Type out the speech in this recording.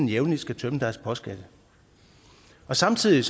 jævnlig skal tømme deres postkasse samtidig